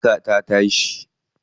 An yanka ta tashi.